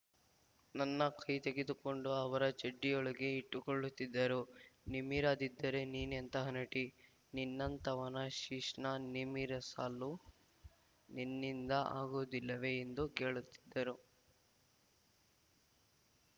ನನ್ನ ಕೈ ತೆಗೆದುಕೊಂಡು ಅವರ ಚಡ್ಡಿಯೊಳಗೆ ಇಟ್ಟುಕೊಳ್ಳುತ್ತಿದ್ದರು ನಿಮಿರದಿದ್ದರೆ ನೀನೆಂಥ ನಟಿ ನನ್ನಂಥವನ ಶಿಶ್ನ ನಿಮಿರಸಲು ನಿನ್ನಿಂದ ಆಗುವುದಿಲ್ಲವೇ ಎಂದು ಕೇಳುತ್ತಿದ್ದರು